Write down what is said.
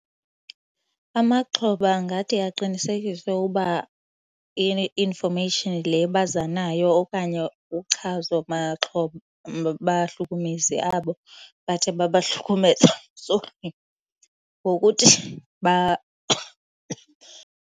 Amaxhoba angathi aqinisekiswe uba i-information le baza nayo okanye uchazo maxhoba bahlukumezi abo bathe babahlukumeza, ngokuthi .